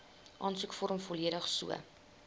aansoekvorm volledig so